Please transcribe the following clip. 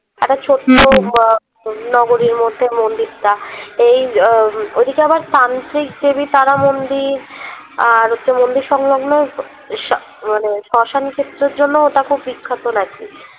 একটা ছোট্ট উম আহ তোর নগরের মধ্যে মন্দিরটা এই উম ওদিকে আবার তান্ত্রিকদেবী তারা মন্দির আর হচ্ছে মন্দির সংগ্লন মানে শ্মশান ক্ষেত্রের জন্যও ওটা খুব বিখ্যাত